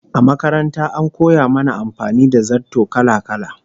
A makaranta an koya mana amfani da zarto kala-kala